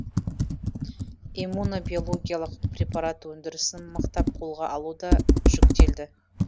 иммуно биологиялық препарат өндірісін мықтап қолға алу да жүктелді